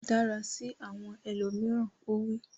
Dára sí àwọn ẹlòmíràn! Ó wí.